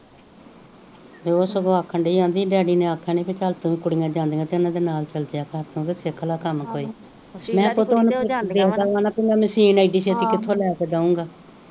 ਤੇ ਉਹ ਸਗੋਂ ਆਖਣ ਡਈ ਆਦੀ ਡੈਡੀ ਨੇ ਅਖੇਆ ਨੀ ਚੱਲ ਤੂੰ ਕੁੜੀਆਂ ਜਾਂਦੀਆਂ ਇਹਨਾਂ ਦੇ ਨਾਲ ਚੱਲ ਜੇਆ ਕਰ ਤੂੰ ਵੀ ਸਿਖਲਾ ਕਾਮ ਕੋਈ ਮੈਂ ਮਸ਼ੀਨ ਏਡੀ ਛੇਤੀ ਕਿਥੋਂ ਲੈ ਕੇ ਦਉਗਾ